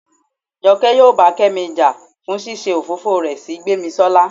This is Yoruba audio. jọke yóò bá kemí ja fún ṣíṣe òfófó rẹ sí gbemisola